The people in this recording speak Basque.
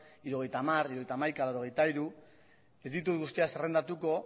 hirurogeita hamar hirurogeita hamaika laurogeita hiru ez ditut guztiak zerrendatuko